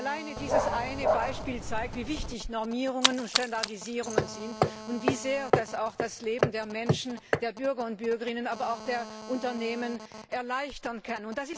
Schon alleine dieses eine Beispiel zeigt, wie wichtig Normierungen und Standardisierungen sind und wie sehr das auch das Leben der Menschen, der Bürger und Bürgerinnen, aber auch der Unternehmen erleichtern kann.